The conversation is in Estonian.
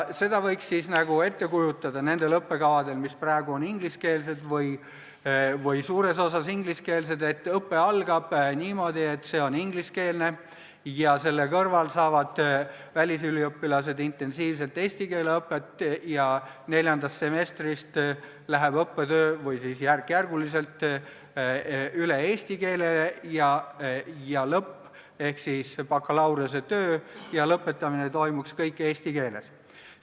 Seda võiks ette kujutada nii, et nendel õppekavadel, mis praegu on ingliskeelsed või suures osas ingliskeelsed, algab õpe inglise keeles, kuid selle kõrval saavad välisüliõpilased intensiivselt eesti keele õpet ja neljandast semestrist või siis järk-järgult läheb õppetöö üle eesti keelele ja lõpp ehk siis bakalaureusetöö ja lõpetamine toimuks kõik eesti keeles.